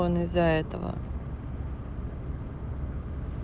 он из-за этого